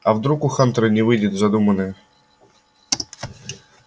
а вдруг у хантера не выйдет задуманное